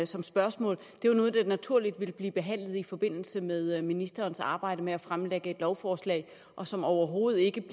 som spørgsmål er noget der naturligt ville blive behandlet i forbindelse med ministerens arbejde med at fremlægge et lovforslag og som overhovedet ikke